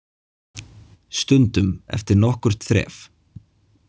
Stundum eftir nokkurt þref.